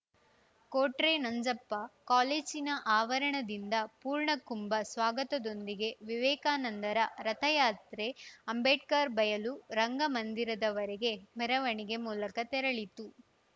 ಕೋಟ್ರೆ ನಂಜಪ್ಪ ಕಾಲೇಜಿನ ಅವರಣದಿಂದ ಪೂರ್ಣಕುಂಭ ಸ್ವಾಗತದೊಂದಿಗೆ ವಿವೇಕಾನಂದರ ರಥಯಾತ್ರೆ ಅಂಬೇಡ್ಕರ್‌ ಬಯಲು ರಂಗ ಮಂದಿರದವರೆಗೆ ಮೆರವಣಿಗೆ ಮೂಲಕ ತೆರಳಿತು